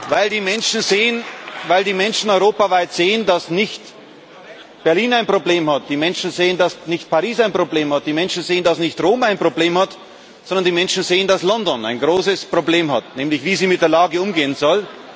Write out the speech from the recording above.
weil die Menschen europaweit sehen, dass nicht Berlin ein Problem hat, die Menschen sehen, dass nicht Paris ein Problem hat, die Menschen sehen, dass nicht Rom ein Problem hat, sondern die Menschen sehen, dass London ein großes Problem hat, nämlich wie es mit der Lage umgehen soll.